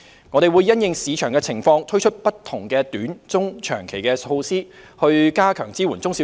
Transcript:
我們會因應市場情況，推出不同的短、中、長期措施，加強支援中小企。